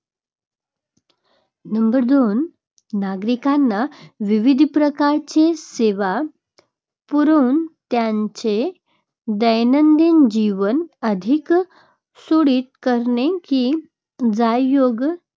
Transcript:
number दोन, नागरिकांना विविध प्रकारच्या सेवा पुरवून त्यांचे दैनंदिन जीवन अधिक सुरळीत करणे की ज्यायोगे त्या